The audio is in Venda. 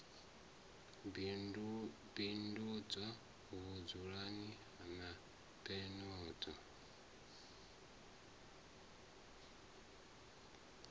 bindudzwa vhugai na peni zwayo